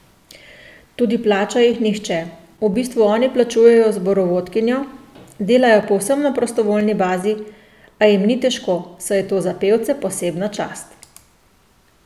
Tudi plača jih nihče, v bistvu oni plačujejo zborovodkinjo, delajo povsem na prostovoljni bazi, a jim ni težko, saj je to za pevce posebna čast.